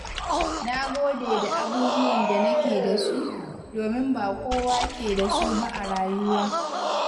Na gode da abubuwan da nake da su, domin ba kowa ke da su ba a rayuwa.